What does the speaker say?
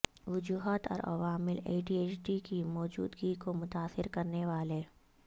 وجوہات اور عوامل ایڈییچڈی کی موجودگی کو متاثر کرنے والے